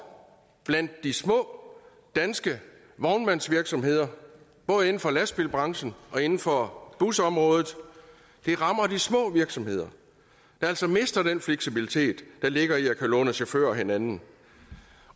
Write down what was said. blandt de små danske vognmandsvirksomheder både inden for lastbilbranchen og inden for busområdet det rammer de små virksomheder der altså mister den fleksibilitet der ligger i at kunne låne chauffører af hinanden